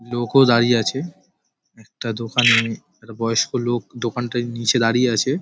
লোকও দাঁড়িয়ে আছে। একটা দোকানে একটা বয়স্ক লোক দোকানটার নীচে দাঁড়িয়ে আছে।